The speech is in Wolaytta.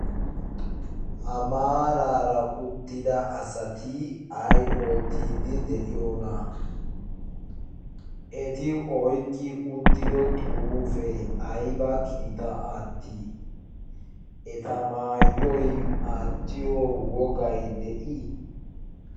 ha maaraara uttida asati ay ootiidi de'iyoonaa? eti oyqqi uttido xuufee ayba kiittaa aattii??